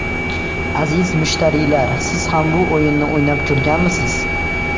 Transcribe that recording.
Aziz mushtariylar, siz ham bu o‘yinni o‘ynab ko‘rganmisiz?